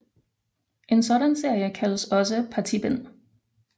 En sådan serie kaldes også partibind